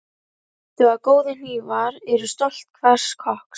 Mundu að góðir hnífar eru stolt hvers kokks.